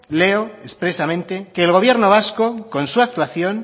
leo expresamente que el gobierno vasco con su actuación